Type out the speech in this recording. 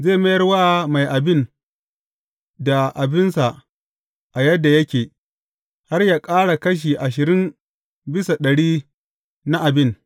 Zai mayar wa mai abin da abinsa a yadda yake, har yă ƙara kashi ashirin bisa ɗari na abin.